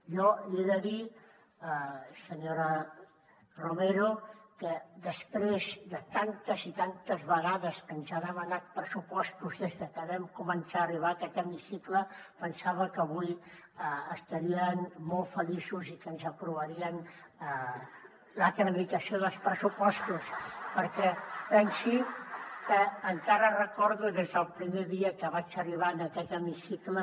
jo li he de dir senyora romero que després de tantes i tantes vegades que ens ha demanat pressupostos des de que vam començar a arribar a aquest hemicicle pensava que avui estarien molt feliços i que ens aprovarien la tramitació dels pressupostos perquè pensi que encara recordo que des del primer dia que vaig arribar en aquest hemicicle